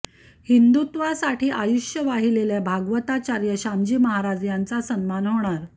हिंदुत्वासाठी आयुष्य वाहिलेल्या भागवताचार्य श्यामजी महाराज यांचा सन्मान होणार